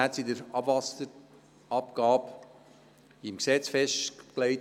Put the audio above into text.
Heute sind die Abwasserabgabesätze im Gesetz festgelegt.